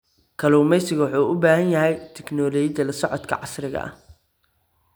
Kalluumeysigu wuxuu u baahan yahay tignoolajiyada la socodka casriga ah.